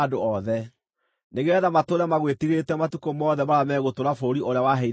nĩgeetha matũũre magwĩtigĩrĩte matukũ mothe marĩa megũtũũra bũrũri ũrĩa waheire maithe maitũ.